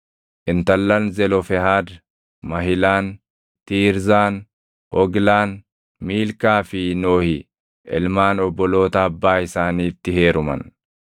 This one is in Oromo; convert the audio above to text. Intallan Zelofehaad Mahilaan, Tiirzaan, Hoglaan, Miilkaa fi Nohi ilmaan obboloota abbaa isaaniitti heeruman.